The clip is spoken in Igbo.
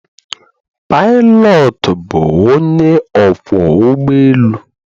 Pilot bụ onye ọkwọ ụgbọ elu